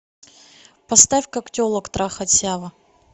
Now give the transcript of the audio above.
поставь как телок трахать сява